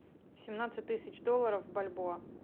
семнадцать тысяч долларов в бальбоа